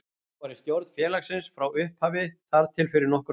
Ég var í stjórn félagsins frá upphafi þar til fyrir nokkrum árum.